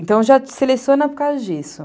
Então, eu já seleciono por causa disso.